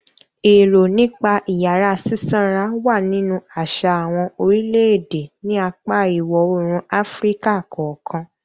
Èrò nípa ìyàrá sísanra wà nínú àṣà àwọn orílẹ̀-èdè ní apá ìwọ-oòrùn Áfíríkà kọ̀ọ̀kan.